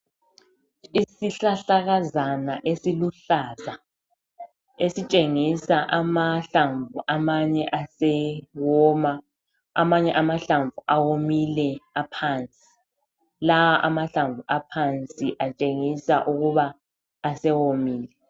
Isihlahlakazana esiluhlaza. Esitshengisa amahlamvu amanye asewoma, amanye amahlamvu awomile aphansi. Lawa amahlamvu aphansi atshengisa ukuba asewomile.